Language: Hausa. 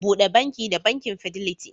Bude banki da banki Fidelity.